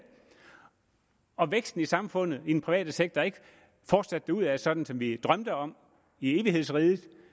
og væksten i samfundet i den private sektor er ikke fortsat derudad sådan som vi drømte om i evighedsriget